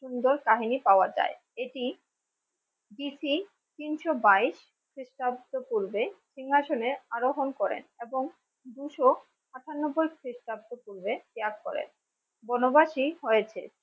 সুন্দর কাহিনী পাওয়া যায়। এটি BC তিনশো বাইশ খ্রিষ্টাব্দ পূর্বে সিংহাসনে আরোহন করেন এবং দুশ আটানব্বই খ্রিস্টাব্দ পূর্বে ত্যাগ করে বনবাসী হয়েছে।